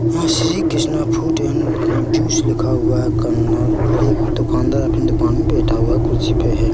वह Shri Krishna fruit and juice लिखा हुआ है कॉर्नर और एक दुकानदार अपने दुकान में बैठा हुआ है कुर्सी पे हैं।